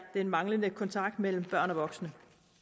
der mangler kontakt mellem børn og voksne